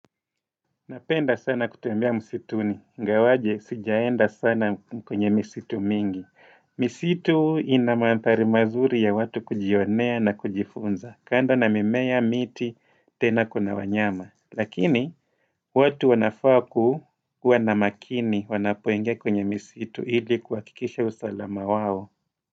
Napenda sana kutembea msituni. Ingawaje, sijaenda sana kwenye msitu mingi. Misitu ina madhari mazuri ya watu kujionea na kujifunza. Kando na mimea, miti, tena kuna wanyama. Lakini, watu wanafaa ku kuwa na makini, wanapoinga kwenye misitu ili kuhakikisha usalama wao.